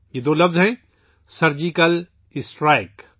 یہ دو الفاظ ہیں سرجیکل اسٹرائیک